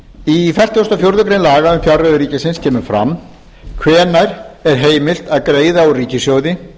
í fertugustu og fjórðu grein laga um fjárreiður ríkisins kemur fram hvenær er heimilt að greiða úr ríkissjóði